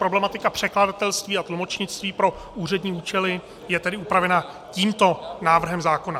Problematika překladatelství a tlumočnictví pro úřední účely je tedy upravena tímto návrhem zákona.